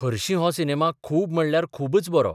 हरशीं हो सिनेमा खूब म्हणल्यार खूबच बरो.